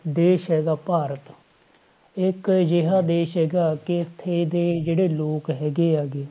ਦੇਸ ਹੈਗਾ ਭਾਰਤ ਇਹ ਇੱਕ ਅਜਿਹਾ ਦੇਸ ਹੈਗਾ ਕਿ ਇੱਥੇ ਦੇ ਜਿਹੜੇ ਲੋਕ ਹੈਗੇ ਆ ਗੇ,